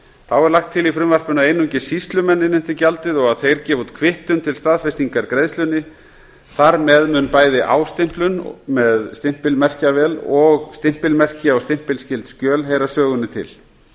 þá er lagt til í frumvarpinu að einungis sýslumenn innheimti gjaldið og að þeir gefi út kvittun til staðfestingar greiðslunni þar með mun bæði ástimplun með stimpilmerkjavél og stimpilmerki á stimpilskyld skjöl heyra sögunni til